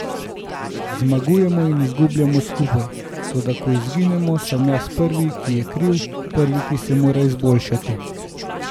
Zmagujemo in izgubljamo skupaj, toda ko izgubimo, sem jaz prvi, ki je kriv, prvi, ki se mora izboljšati.